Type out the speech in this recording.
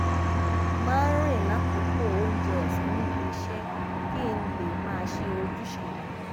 máa ń rìn lákòókò oúnjẹ òsán níbi iṣé kí n lè máa ṣe ojúṣe mi